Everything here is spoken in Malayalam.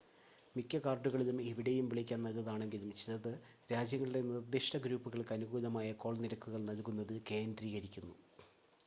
മിക്ക കാർഡുകളും എവിടെയും വിളിക്കാൻ നല്ലതാണെങ്കിലും ചിലത് രാജ്യങ്ങളുടെ നിർദിഷ്‌ട ഗ്രൂപ്പുകൾക്ക് അനുകൂലമായ കോൾ നിരക്കുകൾ നൽകുന്നതിൽ കേന്ദ്രീകരിക്കുന്നു